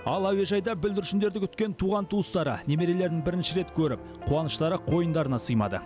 ал әуежайда бүлдіршіндерді күткен туған туыстары немерелерін бірінші рет көріп қуыныштары қойындарына сыймады